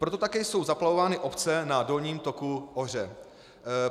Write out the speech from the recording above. Proto také jsou zaplavovány obce na dolním toku Ohře.